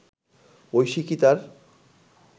ঐশী কি তার